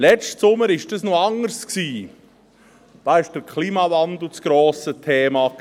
Letzten Sommer war das noch anders, da war der Klimawandel das grosse Thema.